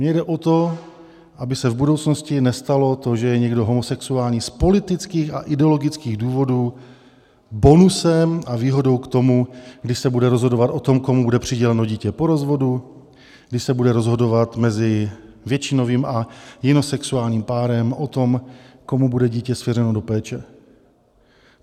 Mně jde o to, aby se v budoucnosti nestalo to, že je někdo homosexuální z politických a ideologických důvodů bonusem a výhodou k tomu, kdy se bude rozhodovat o tom, komu bude přiděleno dítě po rozvodu, kdy se bude rozhodovat mezi většinovým a jinosexuálním párem o tom, komu bude dítě svěřeno do péče.